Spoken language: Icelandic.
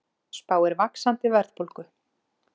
Spáir vaxandi verðbólgu